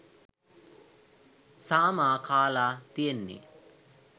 සාමා කාලා තියෙන්නේ